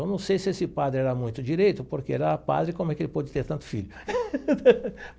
Eu não sei se esse padre era muito direito, porque era padre, como é que ele pôde ter tanto filho?